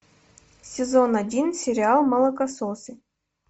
сезон один сериал молокососы